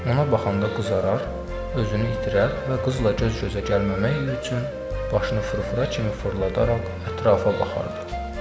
Ona baxanda qızarar, özünü itirər və qızla göz-gözə gəlməmək üçün başını fırfıra kimi fırladaraq ətrafa baxardı.